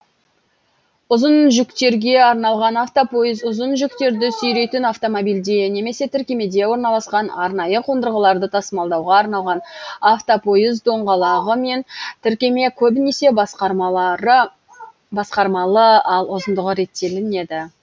ұзын жүктерге арналған автопойыз ұзын жүктерді сүйрейтін автомобильде немесе тіркемеде орналасқан арнайы қондырғыларды тасымалдауға арналған автопойыз доңғалағы мен тіркеме көбінесе басқармалы ал ұзындығы реттелінеді